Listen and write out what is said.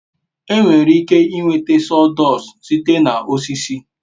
enwere ike nweta sawdust site na osisi